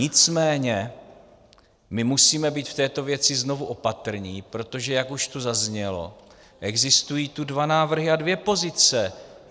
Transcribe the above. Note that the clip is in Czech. Nicméně my musíme být v této věci znovu opatrní, protože, jak už tu zaznělo, existují tu dva návrhy a dvě pozice.